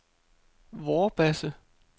Vorbasse